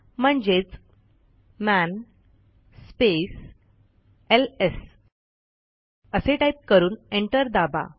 म्हणजेच man space LS असे type करून एंटर दाबा